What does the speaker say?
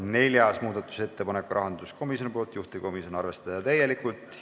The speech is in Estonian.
Neljas muudatusettepanek rahanduskomisjonilt, juhtivkomisjon: arvestada täielikult.